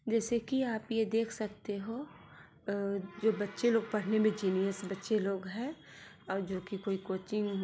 जैसे कि आप ये देख सकते हो जो बच्चे लोग पड़ने में जीनियस बच्चे लोग है और जो कि कोई कोचिंग --